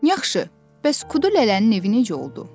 Yaxşı, bəs Kudu Lələnin evi necə oldu?